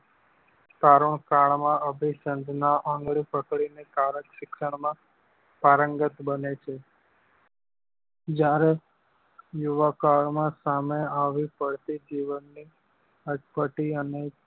તરુણ કાલ માં અભીસંધ નાં આંગળી પકડી ને કારક શિક્ષણ માં પારંગત બને છે જ્યારે યુવા કાળ માં સંમે આવી પડતી જીવન ની અટપટી અને